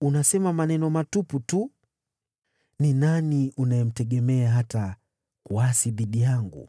unasema maneno matupu tu. Je, wewe unamtegemea nani, hata ukaniasi mimi?